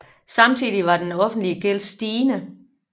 Samtidig var den offentlige gæld stigende